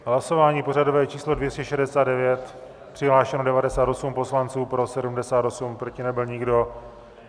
Hlasování pořadové číslo 269, přihlášeno 98 poslanců, pro 78, proti nebyl nikdo.